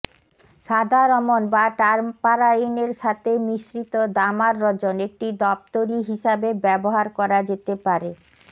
সাদা রমণ বা টারপারাইনের সাথে মিশ্রিত দামার রজন একটি দপ্তরী হিসাবে ব্যবহার করা যেতে পারে